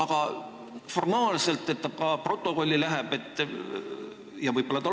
Kas kinnitaksid seda kas või selle pärast, et see läheb ametlikku stenogrammi?